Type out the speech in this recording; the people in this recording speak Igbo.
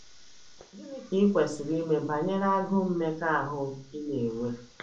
Gịnị ka i kwesịrị ime banyere agụụ mmekọahụ ị na - enwe?